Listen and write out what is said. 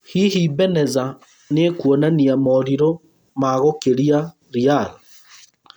Hihi Beneza nĩekwonania moorirũ maagũkĩria Real?